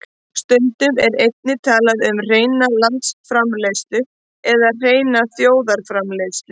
Stundum er einnig talað um hreina landsframleiðslu eða hreina þjóðarframleiðslu.